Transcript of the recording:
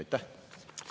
Aitäh!